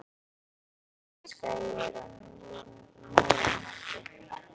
Tröllaskagi er á Norðurlandi.